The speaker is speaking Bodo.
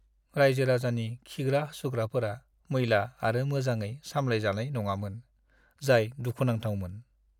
रायजो-राजानि खिग्रा-हासुग्राफोरा मैला आरो मोजाङै सामलायजानाय नङामोन, जाय दुखुनांथावमोन।